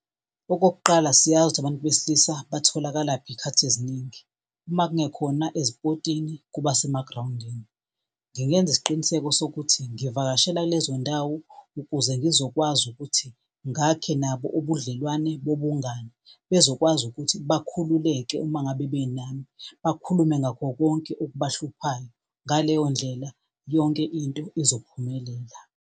Okokuqala siyazi ukuthi abantu besilisa batholakalaphi iy'khathi eziningi, uma kungakhona ey'pothini kuba isemagrawundini. Ngingenza isiqiniseko sokuthi ngivakashela kulezo ndawo ukuze ngizokwazi ukuthi ngakhe nabo ubudlelwane bobungani bezokwazi ukuthi bakhululeke uma ngabe benami, bakhulume ngakho konke okuhluphayo. Ngaleyo ndlela yonke into izophumelela.